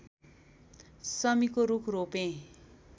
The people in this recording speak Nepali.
शमीको रूख रोपे